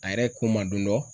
A yɛrɛ ko ma don dɔ